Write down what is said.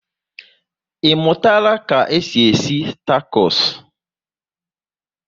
I mụtara ka e si esi takos?